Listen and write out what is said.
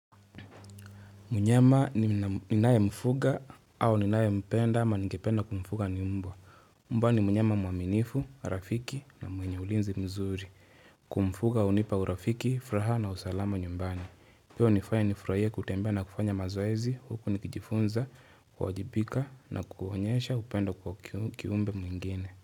Mnyama ni ninaemfuga au ninaempenda ama ningependa kumfuga ni mbwa. Mbwa ni mnyama mwaminifu, rafiki na mwenye ulinzi mzuri. Kumfuga hunipa urafiki, fraha na usalama nyumbani. Pia hunifanya nifurahie kutembea na kufanya mazoezi, huku nikijifunza, kuwajibika na kuonyesha upendo kwa kiumbe mwingine.